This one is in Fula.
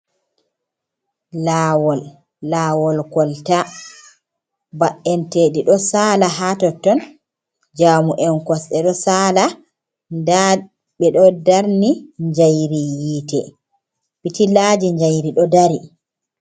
Laawol, laawol kolta ba’enteɗii ɗo sala ha totton, jamu en kosɗe ɗo saala, nda ɓeɗo darni njayri yiite pitillaji jayri ɗo dari.